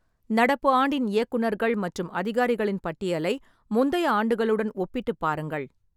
நடப்பு ஆண்டின் இயக்குநர்கள் மற்றும் அதிகாரிகளின் பட்டியலை முந்தைய ஆண்டுகளுடன் ஒப்பிட்டுப் பாருங்கள்.